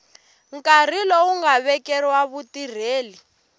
nkarhi lowu nga vekeriwa vutirheli